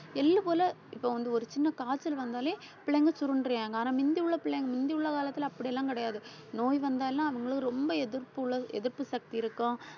எள்ளு போல இப்ப வந்து ஒரு சின்ன காய்ச்சல் வந்தாலே பிள்ளைங்க சுருண்டுறியாங்க. ஆனா மிந்தியுள்ள பிள்ளைங்க மிந்தியுள்ள காலத்துல அப்படியெல்லாம் கிடையாது நோய் வந்தாலும் அவங்களும் ரொம்ப எதிர்ப்பு உள்ளது எதிர்ப்பு சக்தி இருக்கும்.